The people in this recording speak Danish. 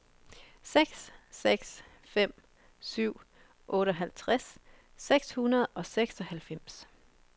seks seks fem syv otteoghalvtreds seks hundrede og seksoghalvfems